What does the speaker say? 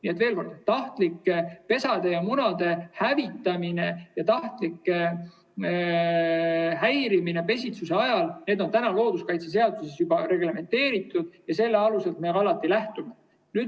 Nii et veel kord: tahtlik pesade ja munade hävitamine ja tahtlik häirimine pesitsusajal on looduskaitseseaduses juba reglementeeritud ja sellelt aluselt me alati lähtume.